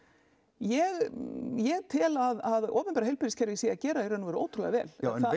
ég ég tel að opinbera heilbrigðiskerfið sé að gera í raun ótrúlega vel